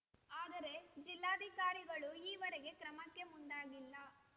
ಆದರೆ ಜಿಲ್ಲಾಧಿಕಾರಿಗಳು ಈವರೆಗೂ ಕ್ರಮಕ್ಕೆ ಮುಂದಾಗಿಲ್ಲ